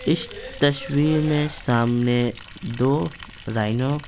इस तस्वीर में सामने दो राइनो --